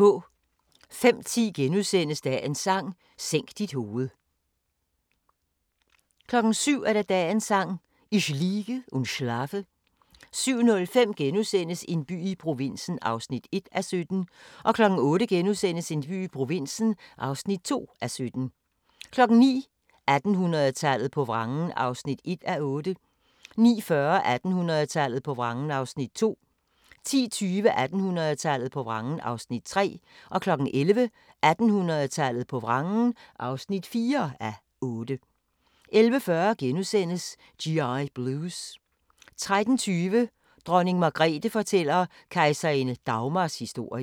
05:10: Dagens Sang: Sænk dit hoved * 07:00: Dagens Sang: Ich liege und schlafe 07:05: En by i provinsen (1:17)* 08:00: En by i provinsen (2:17)* 09:00: 1800-tallet på vrangen (1:8) 09:40: 1800-tallet på vrangen (2:8) 10:20: 1800-tallet på vrangen (3:8) 11:00: 1800-tallet på vrangen (4:8) 11:40: G.I. Blues * 13:20: Dronning Margrethe fortæller kejserinde Dagmars historie